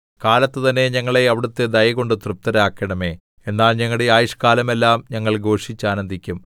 കാലത്ത് തന്നെ ഞങ്ങളെ അവിടുത്തെ ദയകൊണ്ട് തൃപ്തരാക്കണമേ എന്നാൽ ഞങ്ങളുടെ ആയുഷ്കാലമെല്ലാം ഞങ്ങൾ ഘോഷിച്ചാനന്ദിക്കും